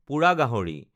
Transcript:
পোৰা গাহৰি